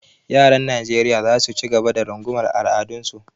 Yaran Najeriya za su ci gaba da rungumar al’adunsu.